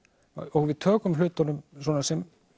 og við tökum hlutunum sem